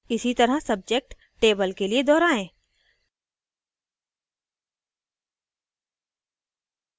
इसी तरह subject table के लिए दोहराएँ